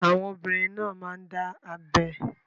Àwọn obìnrin náà máa ń dá abẹ́